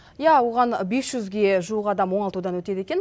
иә оған бес жүзге жуық адам оңалтудан өтеді екен